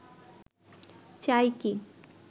চাই কি